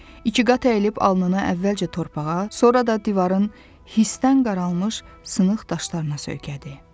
İkiqat əyilib alnını əvvəlcə torpağa, sonra da divarın hissdən qaralmış sınıq daşlarına söykədi.